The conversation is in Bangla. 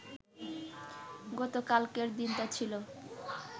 গতকালকের দিনটা ছিল